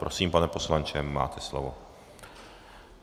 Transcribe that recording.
Prosím, pane poslanče, máte slovo.